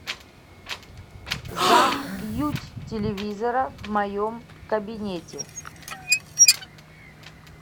замьють телевизора в моем кабинете